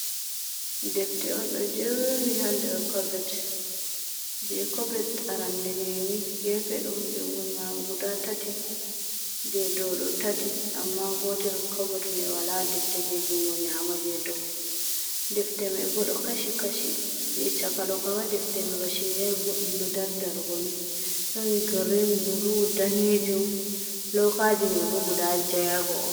Defte on ɗo jerni ha nder cobet je kobet arandeneni gefe ɗo jungo nyama guda tati je ɗow ɗo tati amma gotel cobet mai wala ɗefte je jungo nyamo je dow defte mai bo ɗo kashi kashi je chaka dokam ma defte mai bashiryai ɓoɗɗum do dardargoni don girrin, bulu, danejum, loukaji mai bo guda jayago.